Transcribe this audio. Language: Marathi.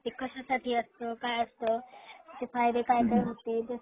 ते कश्यासाठी असत काय असत त्याचे फायदे काय होतील.